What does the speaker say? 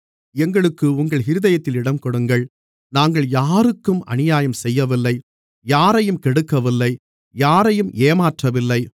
எங்களுக்கு உங்கள் இருதயத்தில் இடங்கொடுங்கள் நாங்கள் யாருக்கும் அநியாயம் செய்யவில்லை யாரையும் கெடுக்கவில்லை யாரையும் ஏமாற்றவில்லை